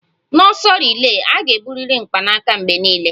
N'ọsọ rile, a ga-eburiri mpanaka mgbe niile